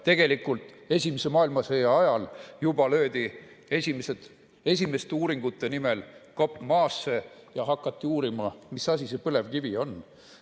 Tegelikult löödi juba esimese maailmasõja ajal esimeste uuringute nimel kopp maasse ja hakati uurima, mis asi see põlevkivi on.